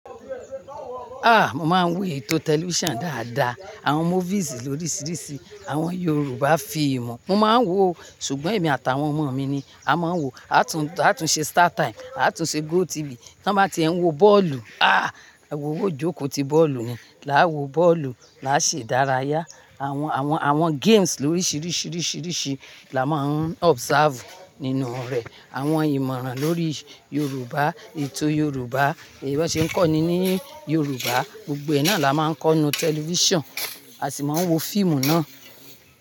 Ah! Mo máa ń wò ètò tẹlifíṣàn dáadáa, àwọn movies lórísìíríṣìí, àwọn Yorùbá fíìmù mo máa ń wò o, ṣùgbọ́n èmi àtàwọn ọmọ mi ni a máa ń wò, a tún ṣe Startime, a tún ṣe GOTV. Tí wọ́n bá ti ń wo bọ́ọ̀lù, ah! Awowo jókòó ti bọ́ọ̀lù ni, làá wo bọ́ọ̀lù, làá ṣe ìdárayá. Àwọn games lórísìíríṣìí là máa ń observe nínú rẹ̀. Àwọn ìmọ̀ràn lórí Yorùbá, ètò Yorùbá, èyí wọn ṣe ń kọ́ni ní Yorùbá, gbogbo ẹ náà la máa ń kọ́ nínu tẹlifíṣàn, a sì máa ń wo fíìmù náà.